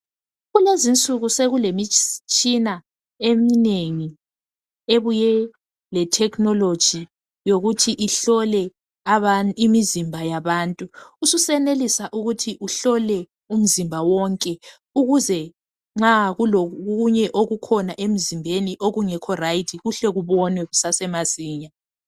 Kulezinsuku sokulemitshina eminengi ebuye lethekhinoloji ukuthi ihlole imizimba yabantu. Ususenelisa ukuhlola umzimba wonke ukuze nxa kulokunye okukhona okungalunganga emzimbeni kuhle kubonwe masinyane.